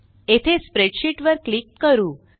येथे स्प्रेडशीट वर क्लिक करू